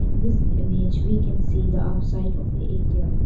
In this image we can see the outside of the A_T_M.